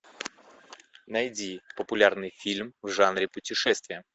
найди популярный фильм в жанре путешествия